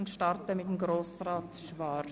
Wir beginnen mit Grossrat Schwaar.